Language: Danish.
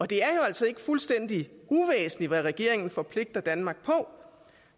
det er jo altså ikke fuldstændig uvæsentligt hvad regeringen forpligter danmark på